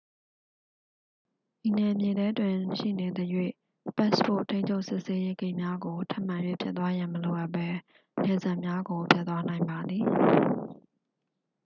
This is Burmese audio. ဤနယ်မြေထဲတွင် ရှိနေသရွေ့ ပတ်စ်ပို့ ထိန်းချုပ်စစ်ဆေးရေး ဂိတ်များကို ထပ်မံ၍ ဖြတ်သွားရန် မလိုအပ်ဘဲ နယ်စပ်များကို ဖြတ်သွားနိုင်ပါသည်